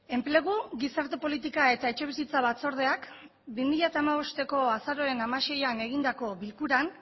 enplegu gizarte politika eta etxebizitza batzordeak bi mila hamabosteko azaroaren hamaseian egindako bilkuran